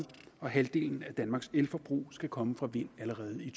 og halvdelen af danmarks elforbrug skal komme fra vind allerede i